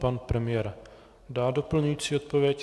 Pan premiér dá doplňující odpověď.